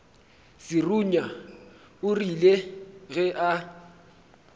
serunya o rile ge a